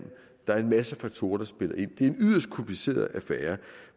der er en masse faktorer der spiller ind det er en yderst kompliceret affære